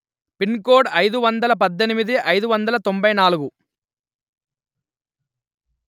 pin కోడ్అయిదు వందలు పధ్ధెనిమిది అయిదు వందలు తొంభై నాలుగు